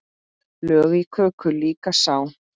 Lög í köku líka sá.